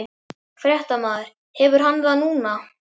Fréttamaður: Hefur hann það núna?